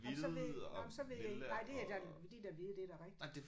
Jamen så ved jamen så ved jeg ikke nej det er da de er da hvide det er da rigtigt